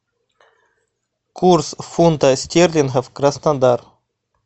курс фунта стерлинга краснодар